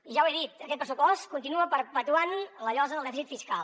ja ho he dit aquest pressupost continua perpetuant la llosa del dèficit fiscal